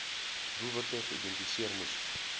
doelwitte geïdentifiseer moes